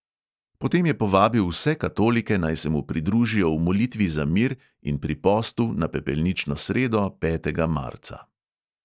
Potem je povabil vse katolike, naj se mu pridružijo v molitvi za mir in pri postu na pepelnično sredo, petega marca.